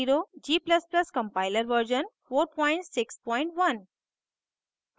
g ++ compiler version 461